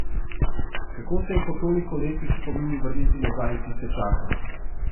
Kako se je po toliko letih s spomini vrniti nazaj v tiste čase?